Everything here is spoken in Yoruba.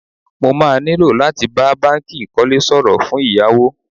Mo má nílò láti bá báńkì ìkólé sọ̀rọ̀ fún ìyáwó.